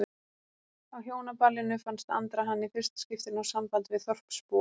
Á Hjónaballinu fannst Andra hann í fyrsta skipti ná sambandi við þorpsbúa.